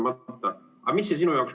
Aga mis see sinu jaoks ...